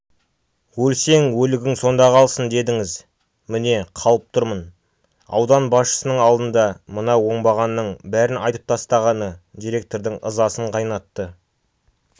өлсең өлігің сонда қалсын дедіңіз міне қалып тұрмын аудан басшысының алдында мына оңбағанның бәрін айтып тастағаны директордың ызасын қайнатты